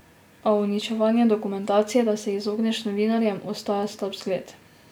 A uničevanje dokumentacije, da se izogneš novinarjem, ostaja slab zgled.